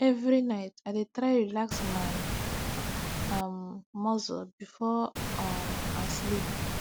every night i dey try relax my um muscle before um i sleep